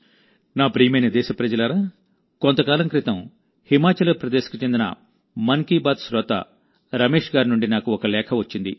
నా ప్రియమైన దేశప్రజలారాకొంతకాలం క్రితంహిమాచల్ ప్రదేశ్ కు చెందిన మన్ కీ బాత్ శ్రోత రమేశ్ గారి నుండి నాకు ఒక లేఖ వచ్చింది